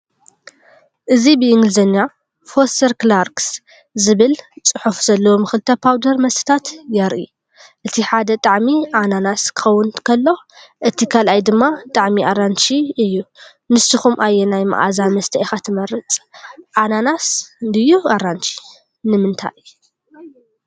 እዚ ብእንግሊዝኛ "ፎስተር ክላርክስ" ዝብል ጽሑፍ ዘለዎም ክልተ ፓውደር መስተታት የርኢ። እቲ ሓደ ጣዕሚ ኣናናስ ክኸውን ከሎ፡ እቲ ካልኣይ ድማ ጣዕሚ ኣራንሺ እዩ። ንስኩም ኣየናይ መኣዛ መስተ ኢኻ ትመርጽ፣ ኣናናስ ድዩ ኣራንሺ? ንምንታይ?